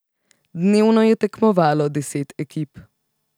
Dnevno je tekmovalo deset ekip.